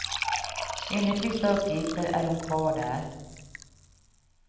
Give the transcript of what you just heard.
Enligt vissa uppgifter är hon kvar där.